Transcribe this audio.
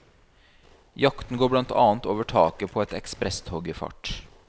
Jakten går blant annet over taket på et ekspresstog i fart.